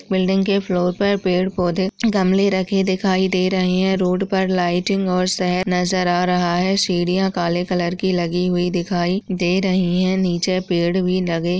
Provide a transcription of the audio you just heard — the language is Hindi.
बिल्डिंग के फ्लोर पर पेड़ पौधे गमले रखे दिखाई दे रहे है। रोड पर लाइटिंग और शहर नजर या रहा है सीढ़िया काले कलर की लगी हुई दिखाई दे रही है नीचे पेड़ भी लगे --